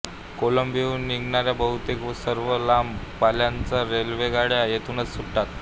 कोलंबोहून निघणाऱ्या बहुतेक सर्व लांब पल्ल्याच्या रेल्वेगाड्या येथूनच सुटतात